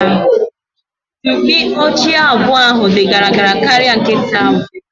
Mkpi ochie abụọ ahụ di gara gara karịa nkịta ahụ